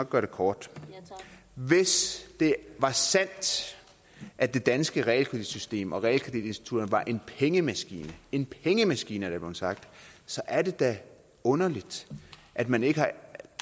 gøre det kort hvis det var sandt at det danske realkreditsystem og realkreditinstitutterne var en pengemaskine en pengemaskine er der blevet sagt så er det da underligt at man ikke har